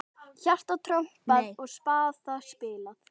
Hjarta trompað og spaða spilað.